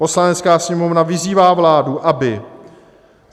Poslanecká sněmovna vyzývá vládu, aby